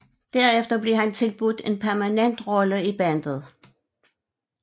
Derefter blev han tilbudt en permanent rolle i bandet